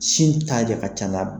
Sin ta de ka ca n'a bɛɛ ye.